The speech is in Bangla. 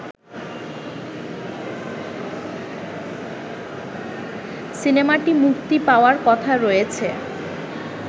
সিনেমাটি মুক্তি পাওয়ার কথা রয়েছে